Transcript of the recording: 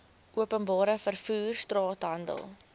openbare vervoer straathandel